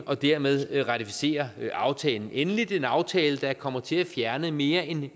og dermed ratificere aftalen endeligt en aftale der kommer til at fjerne mere end